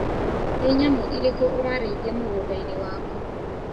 Nĩ nyamũ irĩkũ ũrarĩithia mũgũndainĩ waku.